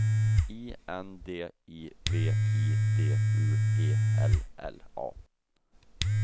I N D I V I D U E L L A